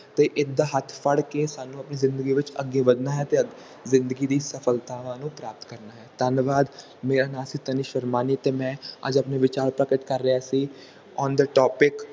ਤੇ ਇਸ ਦਾ ਹੱਥ ਫੜ ਕੇ ਸਾਨੂੰ ਆਨੀ ਜ਼ਿੰਦਗੀ ਵਿਚ ਅੱਗੇ ਵਧਣਾ ਹੈ ਅਤੇ ਜ਼ਿੰਦਗੀ ਦੀ ਸਫਲਤਾਵਾਂ ਨੂੰ ਪ੍ਰਾਪਤ ਕਰਨਾ ਹੈ ਧੰਨਵਾਦ ਮੇਰਾ ਨਾਮ ਹੈ ਤਾਨੀਸ਼ ਰਾਮਾਨੀ ਤੇ ਮੈਂ ਅੱਜ ਆਪਣੇ ਵਿਚਾਰ ਪ੍ਰਕਟ ਕਰ ਰਿਹਾ ਸੀ on the topic